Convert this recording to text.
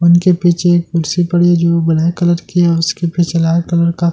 उनके पीछे एक कुर्सी पड़ी है जो ब्‍लैक कलर की है और उसके पीछे लाल कलर का पर्दा लगा--